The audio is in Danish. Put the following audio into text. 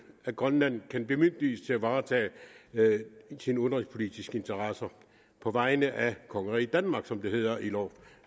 at grønland kan bemyndiges til at varetage sine udenrigspolitiske interesser på vegne af kongeriget danmark som det hedder i loven